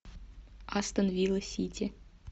астон вилла сити